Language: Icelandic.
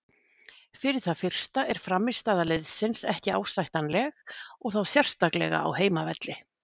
Fyrir það fyrsta er frammistaða liðsins ekki ásættanlega og þá sérstaklega á heimavelli.